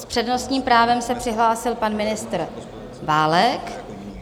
S přednostním právem se přihlásil pan ministr Válek.